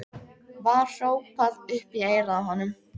var hrópað upp í eyrað á honum.